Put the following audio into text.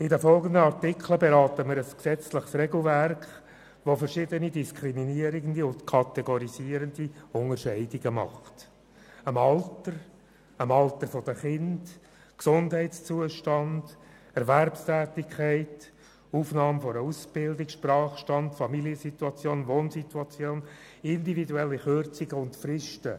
Mit den folgenden Artikeln beraten wir ein gesetzliches Regelwerk, das verschiedene diskriminierende und kategorisierende Unterscheidungen macht: das Alter, das Alter der Kinder, der Gesundheitszustand, die Erwerbstätigkeit, die Aufnahme einer Ausbildung, der Sprachbeherrschungsgrad, die Familiensituation, die Wohnsituation, individuelle Kürzungen und Fristen.